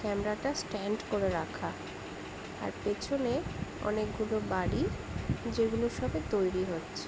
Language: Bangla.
ক্যামেরা -টা স্ট্যান্ড করে রাখা আর পেছনে অনেকগুলো বাড়ি যেগুলো সবে তৈরি হচ্ছে।